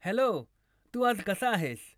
Hello तू आज कसा आहेस?